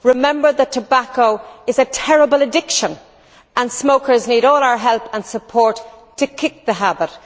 Remember that tobacco is a terrible addiction and smokers need all our help and support to kick the habit.